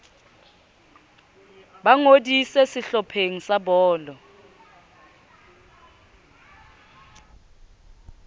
ba ngodise sehlopheng sa bolo